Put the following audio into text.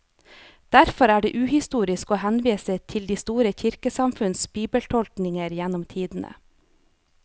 Derfor er det uhistorisk å henvise til de store kirkesamfunns bibeltolkninger gjennom tidene.